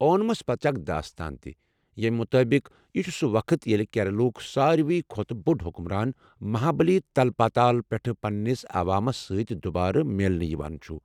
اونمَس پٔتہٕ چھِ اکھ داستان تہِ، ییمہِ مُطٲبِق، یہِ چھُ سُہ وقت ییٚلہِ کیرالہ ہُک ساروٕی کھۄتہٕ بوٚڑ حکمران مہابٔلی، تلپاتال پٮ۪ٹھہٕ پننِس عوامَس سۭتۍ دُبارٕ میلنہِ یوان چھُ ۔